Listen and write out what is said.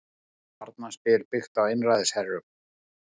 Barnaspil byggt á einræðisherrum